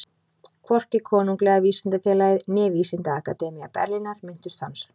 Hvorki Konunglega vísindafélagið né Vísindaakademía Berlínar minntust hans.